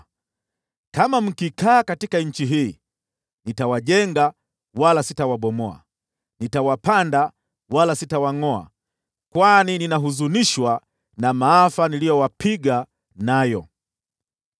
‘Kama mkikaa katika nchi hii, nitawajenga wala sitawabomoa, nitawapanda wala sitawangʼoa, kwani ninahuzunishwa na maafa niliyowapiga nayo.